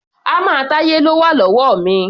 Hámà Táyé ló wà lọ́wọ́ mi.